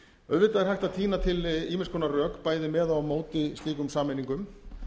auðvitað er hægt að tína til ýmiss konar rök bæði með og á móti slíkum sameiningum